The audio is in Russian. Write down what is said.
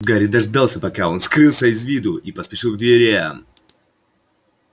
гарри дождался пока он скрылся из виду и поспешил к дверям